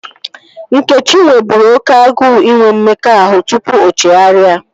Nkechi nweburu oké agụụ inwe mmekọahụ tupu o chegharịa